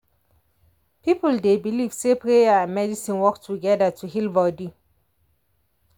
people dey believe say prayer and medicine work together to heal body.